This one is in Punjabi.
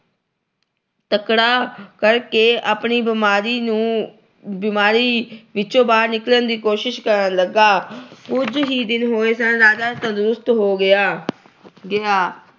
ਤਕੜਾ ਕਰਕੇ ਆਪਣੀ ਬੀਮਾਰੀ ਨੂੰ ਅਹ ਬੀਮਾਰੀ ਵਿੱਚੋਂ ਬਾਹਰ ਨਿਕਲਣ ਦੀ ਕੋਸ਼ਿਸ਼ ਕਰਨ ਲੱਗਾ। ਕੁਝ ਹੀ ਦਿਨ ਹੋਏ ਸਨ। ਰਾਜਾ ਤੰਦਰੁਸਤ ਹੋ ਗਿਆ ਅਹ ਗਿਆ।